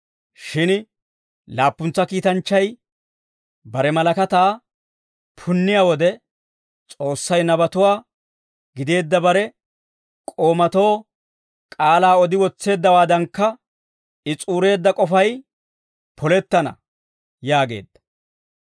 Shin laappuntsa kiitanchchay bare malakataa punniyaa wode, S'oossay nabatuwaa gideedda bare k'oomatoo k'aalaa odi wotseeddawaadankka, I s'uureedda k'ofay polettana» yaageedda.